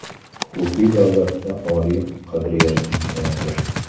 Huquqiy davlatda oliy qadriyat insondir.